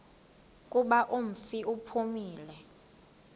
kuba umfi uphumile